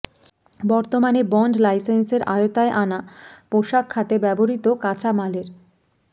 বর্তমানে বন্ড লাইসেন্সের আওতায় আনা পোশাক খাতে ব্যবহূত কাঁচামালের